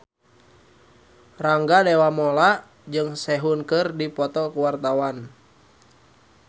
Rangga Dewamoela jeung Sehun keur dipoto ku wartawan